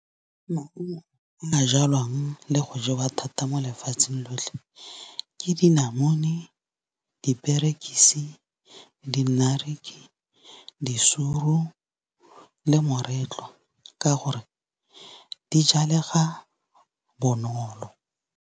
Maungo a jalwang le go jewa thata mo lefatsheng lotlhe, ke dinamune, diperekisi, di-naartjie, disuru le moretlwa ka gore di jalega bonolo.